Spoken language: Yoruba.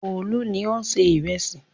Olú ni ó ń se ìrẹsì.